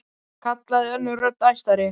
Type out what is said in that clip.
kallaði önnur rödd, æstari.